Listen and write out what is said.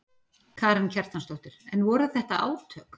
Karen Kjartansdóttir: En voru þetta átök?